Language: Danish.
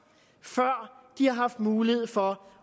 før de har haft mulighed for